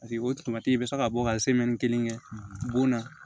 Paseke o bɛ se ka bɔ ka kelen kɛ bon na